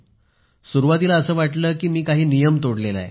तर सुरुवातीला असंच वाटलं कि मी काही नियम तोडलेला आहे